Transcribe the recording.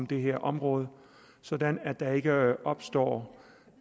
det her område sådan at der ikke opstår